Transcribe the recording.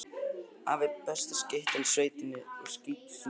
Afi er besta skyttan í sveitinni og skýtur stundum refi.